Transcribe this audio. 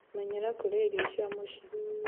Menyera kũria irio cia mũci